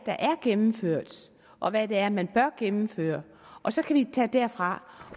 gennemført og hvad det er man bør gennemføre og så kan vi tage den derfra